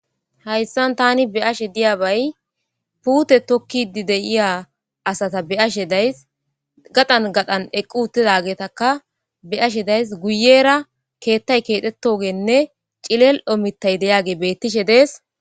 hayssan tani beashe diya bay puute tokkidi deiya asata asheday gadan gadan eqqu uttidageetaka be ashe days guyera keettay keexetogeenne cilelo mitay deyaage bettishe dees